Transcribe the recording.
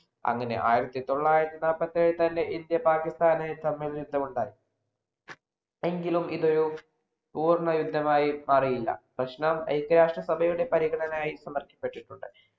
അങ്ങനെ ആയിരത്തിതൊള്ളായിരത്തി നാല്പത്തിയേഴിൽ തന്നെ ഇന്ത്യയും, പാകിസ്ഥാനും തമ്മിൽ യുദ്ധമുണ്ടായി. എങ്കിലും ഇതൊരു പൂർണയുദ്ധമായി മാറിയില്ല. പ്രശ്നം ഐക്യരാഷ്ട്രസഭയുടെ പരിഗണനയായ് സമര്‍പ്പിക്കപ്പെട്ടിട്ടുണ്ട്.